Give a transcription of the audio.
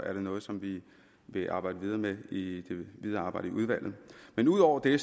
er det noget som vi vil arbejde videre med i det videre arbejde i udvalget men udover det